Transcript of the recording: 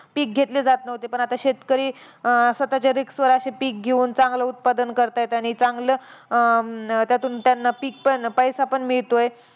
पिक घेतले जात नव्हते, पण आता शेतकरी अं स्वतःच्या risk वर अशे पिक घेऊन चांगले उत्पादन करतायत. आणि चांगलं अं त्यातून त्यांना पिक पण, पैसा पण मिळतोय.